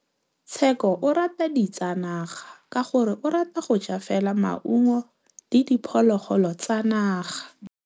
Tshekô o rata ditsanaga ka gore o ja fela maungo le diphologolo tsa naga.